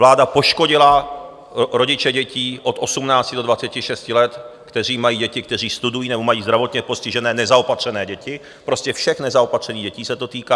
Vláda poškodila rodiče dětí od 18 do 26 let, kteří mají děti, které studují nebo mají zdravotně postižené nezaopatřené děti, prostě všech nezaopatřených dětí se to týká.